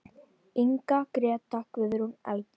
Inga, Gréta, Guðrún, Erla.